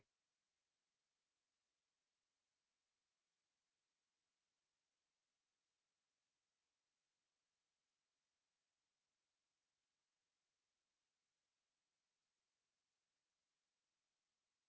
to